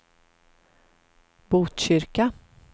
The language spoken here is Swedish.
Botkyrka